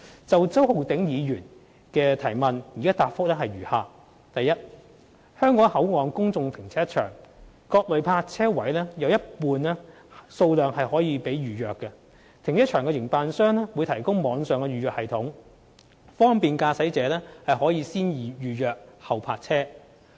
就周浩鼎議員的質詢，我現答覆如下：一香港口岸公眾停車場各類泊車位有一半數量可供預約，停車場營辦商會提供網上預約系統，方便駕駛者可"先預約、後泊車"。